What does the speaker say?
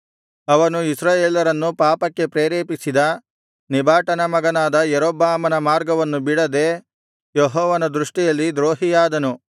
ಅವನು ಇಸ್ರಾಯೇಲರನ್ನು ಪಾಪಕ್ಕೆ ಪ್ರೇರೇಪಿಸಿದ ನೆಬಾಟನ ಮಗನಾದ ಯಾರೊಬ್ಬಾಮನ ಮಾರ್ಗವನ್ನು ಬಿಡದೆ ಯೆಹೋವನ ದೃಷ್ಟಿಯಲ್ಲಿ ದ್ರೋಹಿಯಾದನು